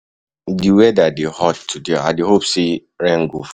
Di weather dey hot today, i dey hope say rain go fall.